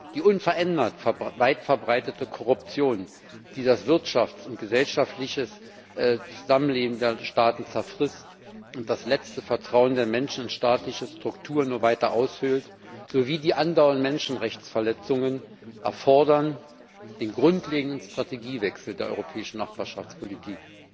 Die unverändert weitverbreitete Korruption, die das Wirtschafts und gesellschaftliche Zusammenleben der Staaten zerfrisst und das letzte Vertrauen der Menschen in staatliche Strukturen nur weiter aushöhlt, sowie die anderen Menschenrechtsverletzungen erfordern den grundlegenden Strategiewechsel der europäischen Nachbarschaftspolitik.